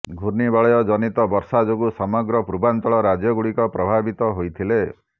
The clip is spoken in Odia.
ଘୂର୍ଣ୍ଣିବଳୟ ଜନିତ ବର୍ଷା ଯୋଗୁଁ ସମଗ୍ର ପୂର୍ବାଞ୍ଚଳ ରାଜ୍ୟଗୁଡିକ ପ୍ରଭାବିତ ହୋଇଥିଲେ